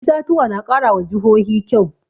Itatuwa na ƙara wa jihohi kyau